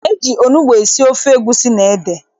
E ji onugbu esi ofe egusi na ede.